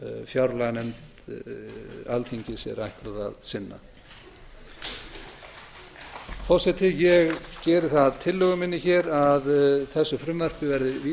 fjárlaganefnd alþingis er ætlað að sinna forseti ég geri það að tillögu minni hér að þessu frumvarpi verði vísað